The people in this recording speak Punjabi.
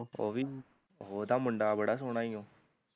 ਓਹ ਵੀ ਓਹ ਦਾ ਮੁੰਡਾ ਬੜਾ ਸੋਹਣਾ ਈ ਓ